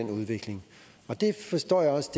forstår jeg også